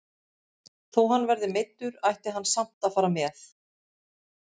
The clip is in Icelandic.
Þó hann verði meiddur ætti hann samt að fara með.